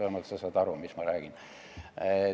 Vähemalt saad sa aru, mis ma räägin.